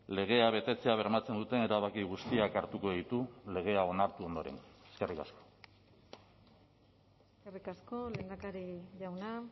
legea betetzea bermatzen duten erabaki guztiak hartuko ditu legea onartu ondoren eskerrik asko eskerrik asko lehendakari jauna